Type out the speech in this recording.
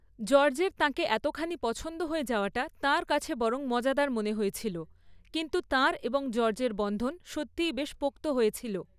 জর্জের তাঁকে এতখানি পছন্দ হয়ে যাওয়াটা তাঁর কাছে বরং মজাদার মনে হয়েছিল, কিন্তু তাঁর এবং জর্জের বন্ধন সত্যিই বেশ পোক্ত হয়েছিল।